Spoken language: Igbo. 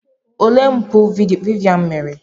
Olee mpụ Vivian mere?